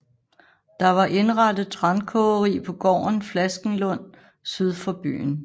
Der var indrettet trankogeri på gården Flaskenlund syd for byen